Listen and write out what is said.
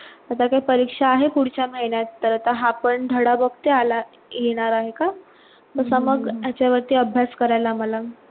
आता काय परीक्षा आहे पुढच्या महिन्यात, तर आता हा पण धडा बघते आला येणार आहे का तसा मग याच्यावरती अभ्यास करायला आम्हाला